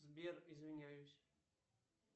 сбер извиняюсь